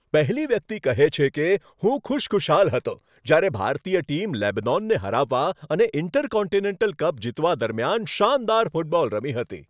પહેલી વ્યક્તિ કહે છે કે, હું ખુશખુશાલ હતો જ્યારે ભારતીય ટીમ લેબનોનને હરાવવા અને ઈન્ટરકોન્ટિનેન્ટલ કપ જીતવા દરમિયાન શાનદાર ફૂટબોલ રમી હતી.